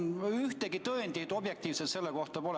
Ühtegi objektiivset põhjust selleks pole.